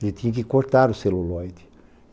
Ele tinha que cortar o celulóide.